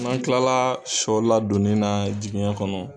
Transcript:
N'an kila sɔ ladonni na jiginɛ kɔnɔ